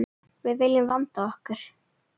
Við viljum vanda okkur.